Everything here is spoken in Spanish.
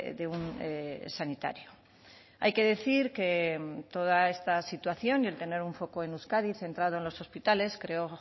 de un sanitario hay que decir que toda esta situación y el tener un foco en euskadi centrado en los hospitales creó